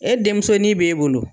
E denmusonin b'e bolo